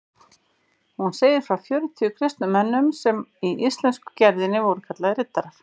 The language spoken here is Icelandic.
Hún segir frá fjörutíu kristnum mönnum sem í íslensku gerðinni voru kallaðir riddarar.